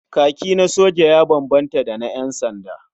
Kaki na soja ya bambanta da na ƴansanda.